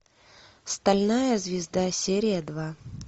стальная звезда серия два